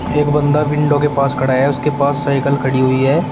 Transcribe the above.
एक बंदा विंडो के पास खड़ा है उसके पास सायकल खड़ी हुई है।